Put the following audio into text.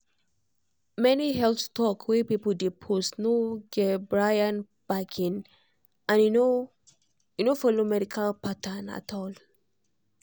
many health talk wey people dey post no get bryan backing and e no and e no follow medical pattern at all